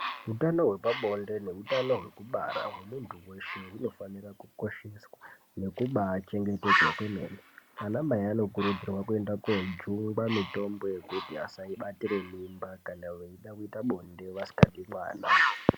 Utano hwepabonde nehutano hwekubara hwemuntu weshe hunofanira kukosheswa nekubakosheswa kwemene. Anamai anokurudzirwa kuenda kojungwa mutombo yekuti vasabatire mimba kana veida kuite bonde vasikadi mwana.